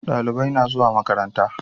Dalibai na zuwa makaranta